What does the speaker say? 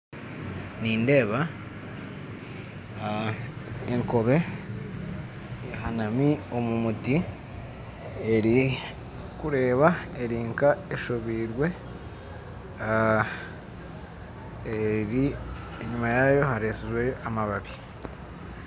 Nindeeba ekoobe eri omu muti eri nk'eshobiirwe kandi enyima yaayo hariyo amababi